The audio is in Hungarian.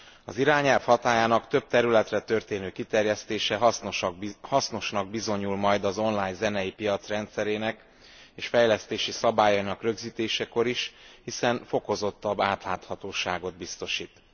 Az irányelv hatályának több területre történő kiterjesztése hasznosnak bizonyul majd az online zenei piac rendszerének és fejlesztési szabályainak rögzítésekor is, hiszen fokozottabb átláthatóságot biztosít.